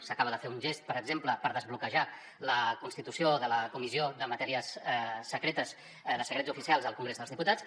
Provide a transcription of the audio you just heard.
s’acaba de fer un gest per exemple per desbloquejar la constitució de la comissió de matèries secretes de secrets oficials al congrés dels diputats